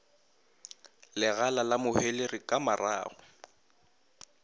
legala la mohwelere ka marago